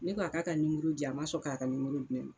Ne ko a k'a ka nimoro di yan, a ma sɔn k'a ka nimoro di ne m